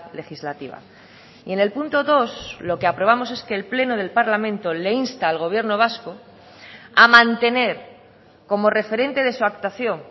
legislativa y en el punto dos lo que aprobamos es que el pleno del parlamento le insta al gobierno vasco a mantener como referente de su actuación